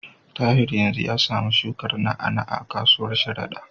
Tahir yanzu ya samu shukar na'a-na'a a kasuwar Sharada.